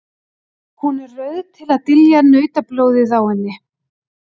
Hún er rauð til að dylja nautablóðið á henni.